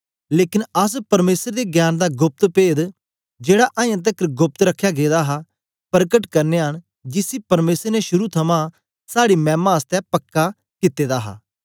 लेकन अस परमेसर दे ज्ञान दा गोप्त पेद जेड़ा अजां तकर गोप्त रखया गेदा हा प्रकट करनयां न जिसी परमेसर ने शुरू थमां साड़ी मैमा आसतै पक्का कित्ते दा हा